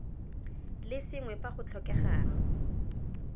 le sengwe fa go tlhokegang